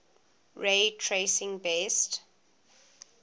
ray tracing best